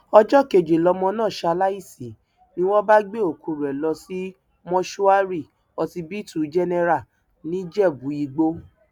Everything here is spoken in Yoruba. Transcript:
ọjọ kejì lọmọ náà ṣaláìsí ni wọn bá gbé òkú rẹ lọ sí mọṣúárì ọsibítù jẹnẹrà nìjẹbùìgbò